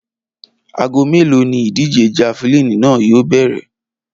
Aago mélòó ni ìdíje̩ javelin náà yóò bè̩rè̩?